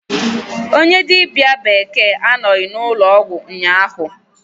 Onye dibia bekee anọghị n'ụlọọgwụ ụnyahụ.